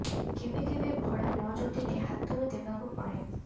କେବେ କେବେ ଭଡା ନ ଜୁଟିଲେ ହାତରୁ ଦେବାକୁ ପଡେ